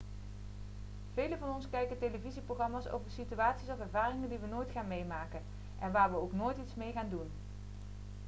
velen van ons kijken televisieprogramma's over situaties of ervaringen die we nooit gaan meemaken en waar we ook nooit iets mee gaan doen